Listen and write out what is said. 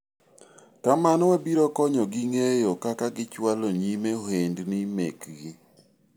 kamano , wabiro konyo gi ng'eyo kaka gichwalo nyime ohendni mekgi